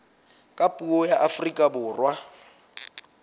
ka puo la afrika borwa